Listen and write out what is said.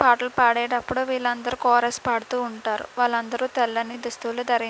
పాటలు పాడేటప్పుడు వీళ్ళందరూ కోరేసి పడుతూ ఉంటారు. వాళ్ళందరూ తెల్లని దుస్తులు ధరించి --